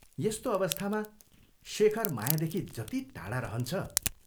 यस्तो अवस्थामा शेखर मायादेखि जति टाढा रहन्छ,